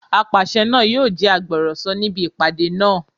Apàṣẹ náà yóò jẹ́ agbọ̀rọ̀sọ níbi ìpàdé náà